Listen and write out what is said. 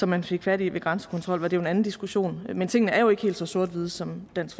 man fik fat i ved grænsekontrol var det jo en anden diskussion men tingene er jo ikke helt så sort hvide som dansk